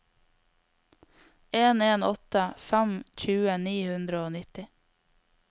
en en åtte fem tjue ni hundre og nitti